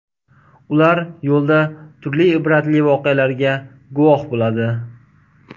Ular yo‘lda turli ibratli voqealarga guvoh bo‘ladi.